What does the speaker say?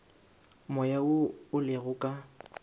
moya wo o lego ka